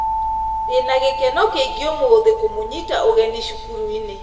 Ndĩna gĩkeno kĩingĩ ũmũthũ kũmũnyita ũgeni cukuruinĩ